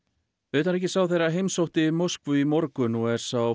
utanríkisráðherra heimsótti Moskvu í morgun og er sá